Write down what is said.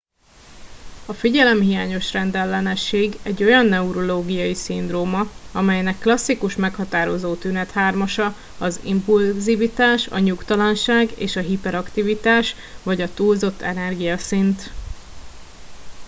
a figyelemhiányos rendellenesség egy olyan neurológiai szindróma amelynek klasszikus meghatározó tünethármasa az impulzivitás a nyugtalanság és a hiperaktivitás vagy a túlzott energiaszint